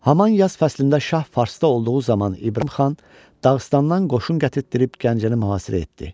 Haman yaz fəslində şah Farsda olduğu zaman İbrahim xan Dağıstandan qoşun gətirdib Gəncəni mühasirə etdi.